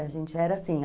A gente era assim.